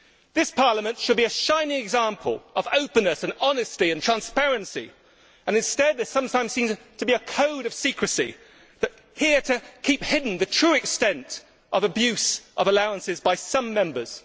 This Parliament should be a shining example of openness, honesty and transparency, and instead there sometimes seems to be a code of secrecy here to keep hidden the true extent of abuse of allowances by some Members.